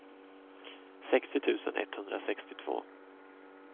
sextio tusen etthundrasextiotvå